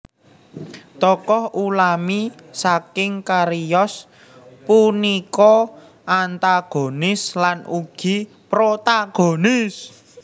Tokoh utami saking cariyos punika antagonis lan ugi protagonis